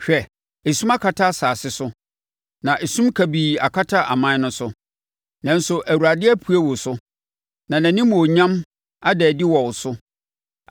Hwɛ, esum akata asase so na esum kabii akata aman no so, nanso Awurade apue wo so na nʼanimuonyam ada adi wɔ wo so.